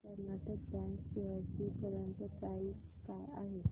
Karnataka bank shares ची current price काय आहे